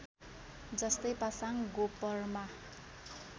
जस्तै पासाङ गोपर्मा